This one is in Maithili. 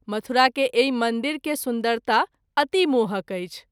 मथुरा के एहि मंदिर के सुन्दरता अति मोहक अछि।